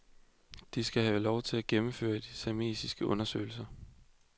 De skal have lov til at gennemføre de seismiske undersøgelser.